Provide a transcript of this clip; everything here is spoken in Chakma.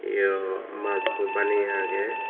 eow mash ekko baniye aagey.